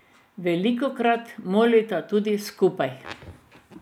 Velikokrat molita tudi skupaj.